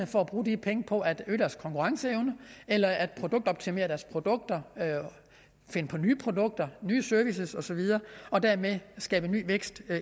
for at bruge de penge på at øge deres konkurrenceevne eller at produktoptimere deres produkter finde på nye produkter nye servicer og så videre og dermed skabe ny vækst